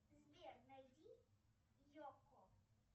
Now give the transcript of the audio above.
сбер найди йокко